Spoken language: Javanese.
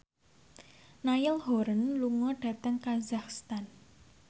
Niall Horran lunga dhateng kazakhstan